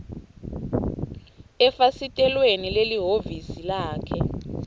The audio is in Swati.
efasitelweni lelihhovisi lakhe